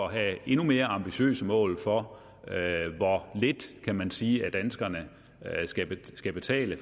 at have endnu mere ambitiøse mål for hvor lidt kan man sige danskerne skal betale